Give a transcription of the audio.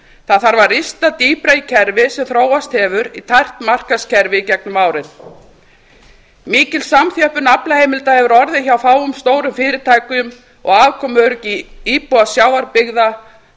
það þarf að rista dýpra í kerfið sem þróast hefur í tækt markaðskerfi gegnum árin mikil samþjöppun aflaheimilda hefur orðið hjá fáum stórum fyrirtækjum og afkomu íbúa sjávarbyggða